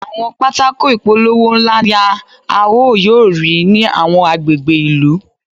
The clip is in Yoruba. Àwọn pátákó ìpolówó ńlá ni a ó yóò rí ní àwọn agbègbè ìlú.